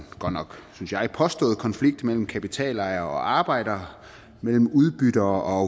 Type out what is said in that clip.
synes jeg påstået konflikt mellem kapitalejere og arbejdere mellem udbyttere og